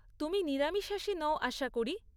তুমি নিরামিষাশী নও আশা করি?